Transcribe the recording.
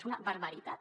és una barbaritat